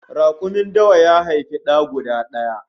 Rakumin dawa ta haifi da guda daya